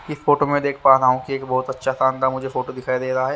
ठीक फोटो में देख में पा रहा हु की मुझे एक बहोत अच्छा सानदार मुझे फोटो दिखाई देरा हैं।